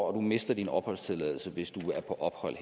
og du mister din opholdstilladelse hvis du er på ophold